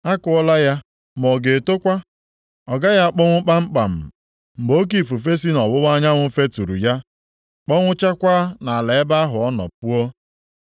A kụọla ya ma ọ ga-etokwa? Ọ gaghị akpọnwụ kpamkpam mgbe oke ifufe si nʼọwụwa anyanwụ feturu ya, kpọnwụchakwaa nʼala ebe ahụ ọ nọ puo?’ ”